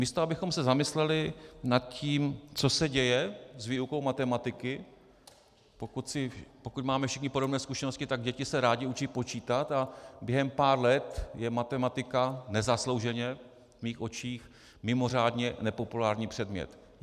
Místo abychom se zamysleli nad tím, co se děje s výukou matematiky - pokud máme všichni podobné zkušenosti, tak děti se rády učí počítat a během pár let je matematika, nezaslouženě v mých očích, mimořádně nepopulární předmět.